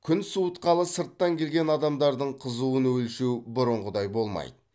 күн суытқалы сырттан келген адамдардың қызуын өлшеу бұрынғыдай болмайды